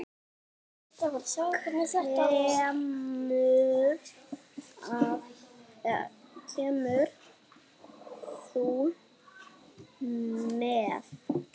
Kemur þú með?